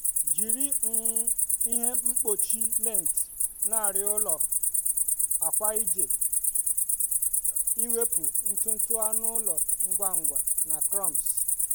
jiri um ihe mkpuchi lint na arịa ụlọ akwa iji um wepụ ntutu anụ ụlọ ngwa ngwa na crumbs.